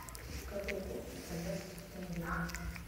какой курс у казахских тенге